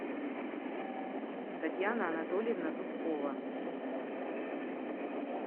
татьяна анатольевна зубкова